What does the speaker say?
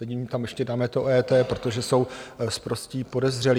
Teď jim tam ještě dáme to EET, protože jsou sprostí podezřelí.